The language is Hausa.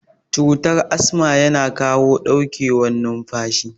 Cutar asma yana kawo ɗauke wan numfashi